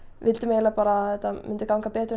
vildum bara að þetta myndi ganga betur en